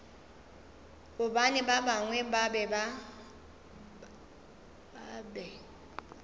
gobane ba bangwe ba be